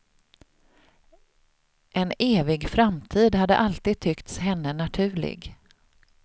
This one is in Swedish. En evig framtid hade alltid tyckts henne naturlig.